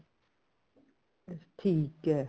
ਠੀਕ ਏ